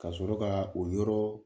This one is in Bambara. Ka sɔrɔ ka o yɔrɔ